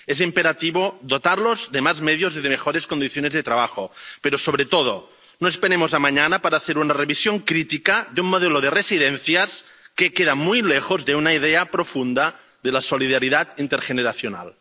Es imperativo dotarlos de más medios y de mejores condiciones de trabajo, pero, sobre todo, no esperemos a mañana para hacer una revisión crítica de un modelo de residencias que queda muy lejos de una idea profunda de la solidaridad intergeneracional.